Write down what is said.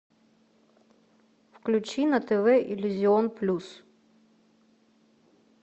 включи на тв иллюзион плюс